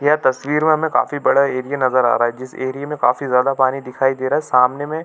यह तस्वीर में हमे काफी बड़ा एरिया नज़र आ रहा है जिस एरिए में हमें काफी ज्यादा पानी दिखाई दे रहा है सामने में --